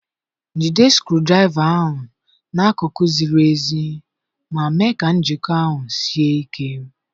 Jide skru draiva ahu n'akụkụ ziri ezi ma mee ka njiko ahụ sie ike.